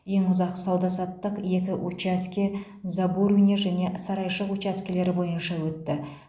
ең ұзақ сауда саттық екі учаске забурунье және сарайшық учаскелері бойынша өтті